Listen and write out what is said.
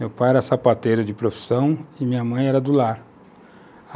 Meu pai era sapateiro de profissão e minha mãe era do lar.